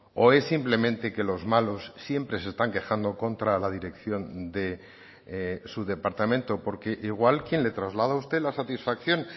o es simplemente que los malos siempre se están quejando contra la dirección de su departamento porque igual quien le traslada a usted la satisfacción